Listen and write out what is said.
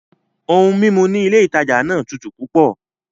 Oun mímu ní ilé ìtajà náà tútù púpọ̀